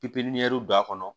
Pipiniyɛri don a kɔnɔ